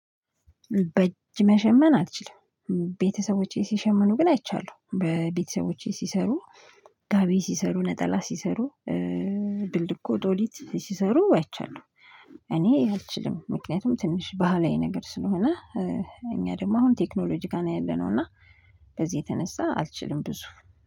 በእጅ መሸመን አልችልም። ቤተሰቦቼ ሲሸመኑ ግን አይቻለሁ በቤተሰቦቼ ሲሰሩ ጋቢ ሲሰሩ ነጠላ ሲሰሩ ብልኮ ዶሊት ሲሰሩ አይቻለሁ። እኔ አልችልም ምክንያቱም ትንሽ ባህላዊ ነገር ስለሆነ። እኛ ደግሞ አሁን ቴክኖሎጂ ጋ ነው ያለነው። እና በዚህ የተነሳ አልችልም ብዙ